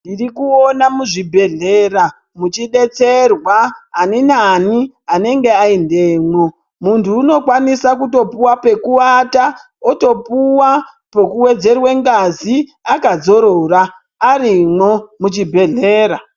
Ndirikuona muzvibhedhlera muchidetserwa aninani anenge aendemwo. Muntu unokwanisa kutopuwa pekuata, otopuwa pekuwedzerwe ngazi akadzorora arimwo muchibhedhlera.